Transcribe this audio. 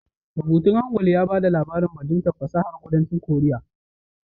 Rubutun Hangul ya ba da labarin bajintar fasahar kudancin korea